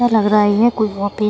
यह लग रहा है कोई वहाँ पे --